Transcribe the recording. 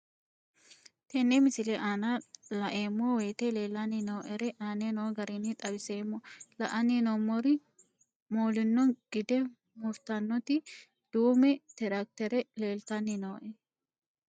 Tenne misile aana laeemmo woyte leelanni noo'ere aane noo garinni xawiseemmo. La'anni noomorri moolinno gide muritanotti duume tiraakitere leelitanni nooe.